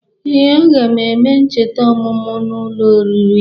Ee, aga m eme ncheta ọmụmụ m n'ụlọ oriri.